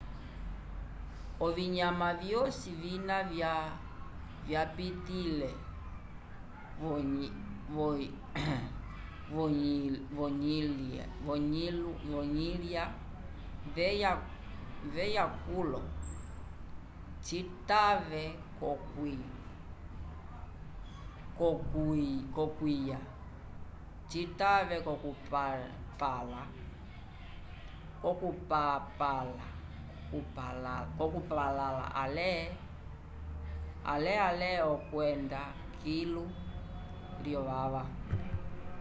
ovinyama vyosi vina vyapitĩlile v'oyilya veya kulo citave l'okuywa citave l'okupalãla ale ale okwenda kilu lyovava